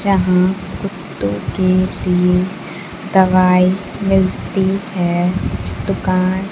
जहां कुत्तों के लिए दवाई मिलती है दुकान--